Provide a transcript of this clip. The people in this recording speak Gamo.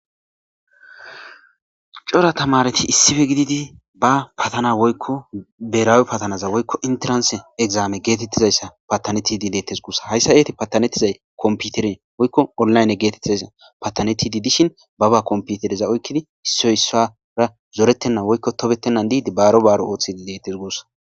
cora tamareti issife gididi ba patana woykko beraawe patanaza woykko interanse egzaame geetettizayssa patanetidi deetes guussa hayssa eeti patanettizay komputere woykko onlayne geetettizasa patanetidi dishin baba komputereza oykkidi issoy issara zoretenna woykko tobettennan diidi baaro baaro ooththid dettes gussa